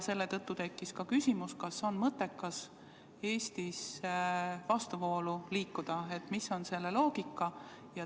Selle tõttu tekkis küsimus, kas on mõttekas Eestis vastuvoolu ujuda, mis on selle loogika.